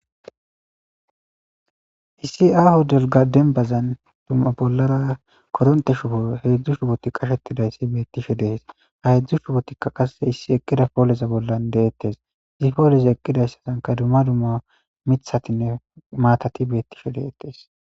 Issi aaho dembazan bollara heedzu koronte shubota qachchetidaysi beetosona. Ha heedzu shubotika qasse issi eqqida pooleza bolla deetees. Poolezi eqqidason dumma dumma miththatine maatati beetishe de'osona.